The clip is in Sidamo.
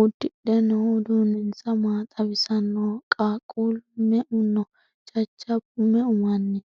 uddidhe noohu uduunninsa maa xawisannoho? qaaqquullu me"u no? jajjabbu me"u manni no?